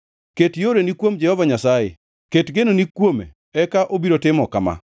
Ket yoreni kuom Jehova Nyasaye; ket genoni kuome eka obiro timo kama: